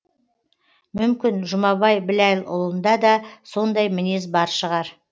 мүмкін жұмабай біләлұлында да сондай мінез бар шығар